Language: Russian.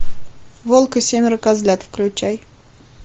волк и семеро козлят включай